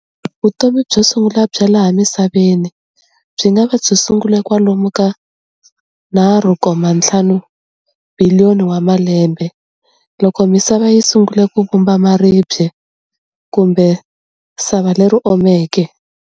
Vutomi byo sungula bya laha misaveni byi ngava byi sungule kwalomu ka 3.5 biliyoni wa malembe, loko misava yisungule ku vumba maribye kumbe sava leri omeke.